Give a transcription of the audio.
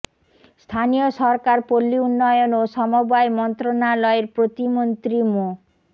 স্থানীয় সরকার পল্লী উন্নয়ন ও সমবায় মন্ত্রণালয়ের প্রতিমন্ত্রী মো